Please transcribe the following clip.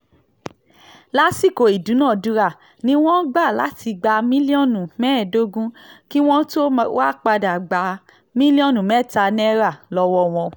lásìkò ìdúnàádúrà ni wọ́n gbà láti gba mílíọ̀nù mẹ́ẹ̀ẹ́dógún kí wọ́n tóó wáá padà gba mílíọ̀nù mẹ́ta náírà lọ́wọ́ wọn